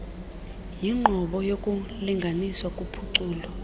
yinqobo yokulinganiswa kuphuculo